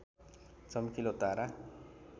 चम्किलो तारा